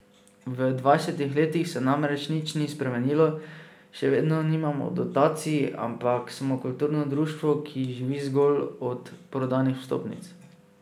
V dvajsetih letih se namreč ni nič spremenilo, še vedno nimamo dotacij, ampak smo kulturno društvo, ki živi zgolj od prodanih vstopnic.